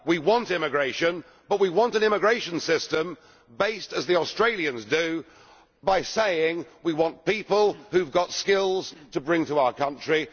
We want immigration but we want an immigration system based, as the Australian one is, on saying we want people who have got skills to bring to our country.